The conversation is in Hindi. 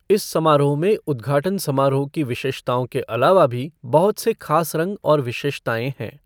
इस समारोह में उद्घाटन समारोह की विशेषताओं के अलावा भी बहुत से खास रंग और विशेषताएँ हैं।